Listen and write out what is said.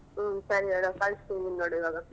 ಹ್ಮ್ ಸರಿ ಹೇಳು ಕಳ್ಸ್ತಿದಿನಿ ನೋಡ್ ಇವಾಗ.